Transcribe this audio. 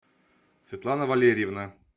светлана валерьевна